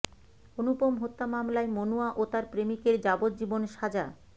অনুপম হত্যা হামলায় মনুয়া ও তার প্রেমিকের যাবজ্জীবন সাজা